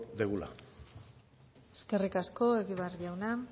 dugula eskerrik asko egibar jauna